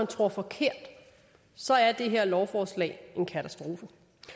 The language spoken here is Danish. tror forkert så er det her lovforslag en katastrofe